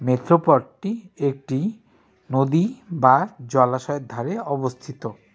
মেঠো পথটি একটি নদী বা জলাশয়ের ধারে অবস্থিত।